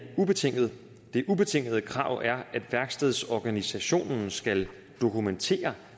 ubetinget det ubetingede krav er at værkstedsorganisationen skal dokumentere